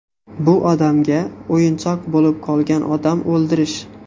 Bu odamga o‘yinchoq bo‘lib qolgan odam o‘ldirish.